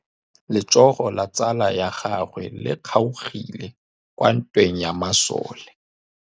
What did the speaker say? Letsôgô la tsala ya gagwe le kgaogile kwa ntweng ya masole.